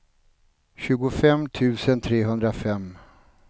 tjugofem tusen trehundrafem